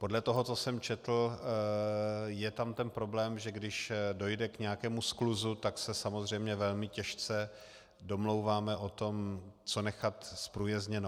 Podle toho, co jsem četl, je tam ten problém, že když dojde k nějakému skluzu, tak se samozřejmě velmi těžce domlouváme o tom, co nechat zprůjezdněno.